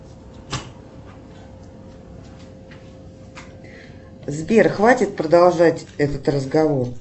сбер хватит продолжать этот разговор